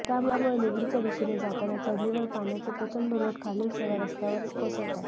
त्यामुळे निगडीच्या दिशेने जाताना चढणीवर पाण्याचे प्रचंड लोट खालील सेवा रस्त्यावर कोसळतात